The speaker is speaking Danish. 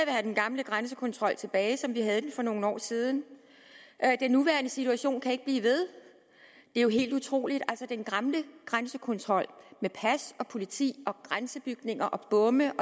have den gamle grænsekontrol tilbage som vi havde den for nogle år siden den nuværende situation kan ikke blive ved det er jo helt utroligt altså den gamle grænsekontrol med pas politi grænsebygninger bomme